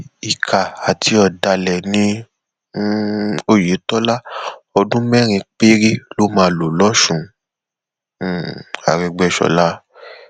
ìkà àti ọdàlẹ ní um ọyẹtọlá ọdún mẹrin péré ló máa lò lọsùn um àrègbèsọla